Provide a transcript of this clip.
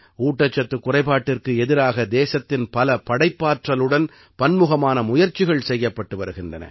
ஊட்டச்சத்துக் குறைபாட்டிற்கு எதிராக தேசத்தின் பல படைப்பாற்றலுடன் பன்முகமான முயற்சிகள் செய்யப்பட்டு வருகின்றன